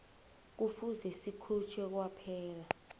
kufuze sikhutjhwe kwaphela